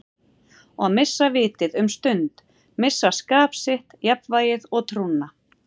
Og missa vitið um stund, missa skap sitt, jafnvægið og trúna.